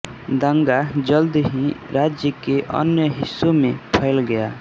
दंगा जल्द ही राज्य के अन्य हिस्सों में फैल गया